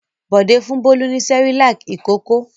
Bọ̀dé fún Bólú ní Cerelac ìkókó.